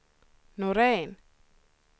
Norén